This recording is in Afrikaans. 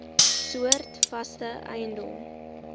soorte vaste eiendom